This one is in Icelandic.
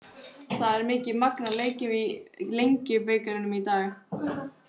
Það er mikið magn af leikjum í Lengjubikarnum í dag.